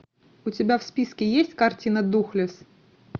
у тебя в списке есть картина духлесс